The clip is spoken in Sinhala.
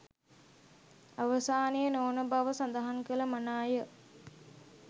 අවසානය නොවන බව සඳහන් කළ මනාය